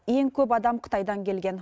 ең көп адам қытайдан келген